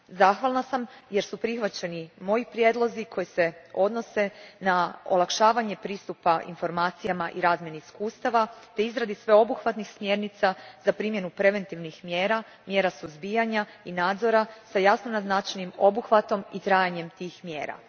Zahvalna sam jer su prihvaćeni moji prijedlozi koji se odnose na olakšavanje pristupa informacijama i razmjenu iskustava te izradu sveobuhvatnih smjernica za primjenu preventivnih mjera, mjera suzbijanja i nadzora s jasno naznačenim obuhvatom i trajanjem tih mjera.